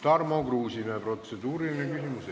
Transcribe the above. Tarmo Kruusimäe, protseduuriline küsimus.